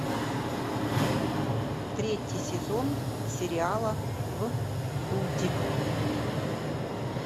третий сезон сериала вдудь